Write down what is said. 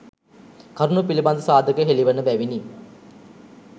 කරුණු පිළිබඳ සාධක හෙළිවන බැවිණි